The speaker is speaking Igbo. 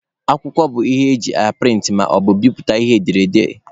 Akwụkwọ bụ ihe e ji aprịntị ma na-ebiputa ihe edere ede.